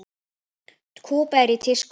Kúba er í tísku.